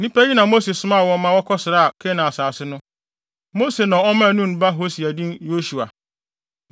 Nnipa yi na Mose somaa wɔn ma wɔkɔsraa Kanaan asase no. Mose na ɔmaa Nun ba Hosea din Yosua.